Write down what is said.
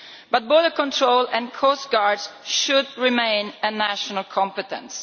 But both the control and coastguards should remain a national competence.